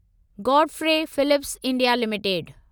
Godfrey Phillips India limited